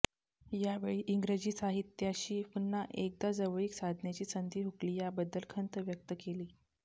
यावेळी इंग्रजी साहित्याशी पुन्हा एकदा जवळीक साधण्याची संधी हुकली याबद्दल खंत व्यक्त केली